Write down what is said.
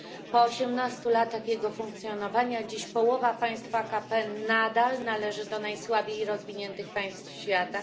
Po osiemnastu latach jego funkcjonowania dziś połowa państw AKP nadal należy do najsłabiej rozwiniętych państw świata.